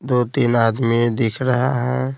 दो-तीन आदमी दिख रहा है।